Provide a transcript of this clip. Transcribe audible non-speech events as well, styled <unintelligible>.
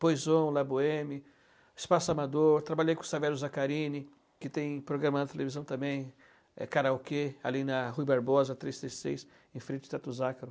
Poison, La Boheme, Espaço Amador, trabalhei com Savelio Zaccarini, que tem programa na televisão também, Karaokê, ali na Rua Barbosa, três três seis, em frente de <unintelligible>